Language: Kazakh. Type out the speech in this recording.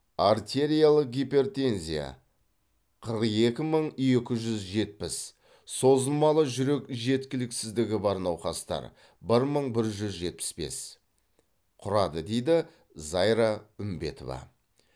артериялық гипертензия қырық екі мың екі жүз жетпіс созылмалы жүрек жеткіліксіздігі бар науқастар бір мың бір жүз жетпіс бес құрады дейді зайра үмбетова